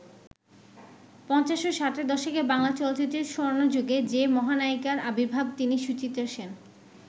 পঞ্চাশ ও ষাটের দশকে বাংলা চলচ্চিত্রের স্বর্ণযুগে যে মহানায়িকার আবির্ভাব তিনি সুচিত্রা সেন।